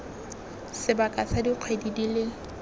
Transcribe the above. sebaka sa dikgwedi di le